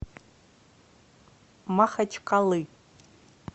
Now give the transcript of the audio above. махачкалы